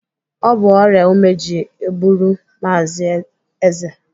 Ọ bụ ọrịa ume ji gbụrụ Maazị Eze